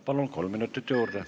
Palun, kolm minutit juurde!